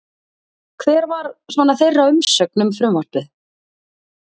Hver var svona þeirra umsögn um frumvarpið?